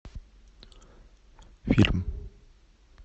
фильм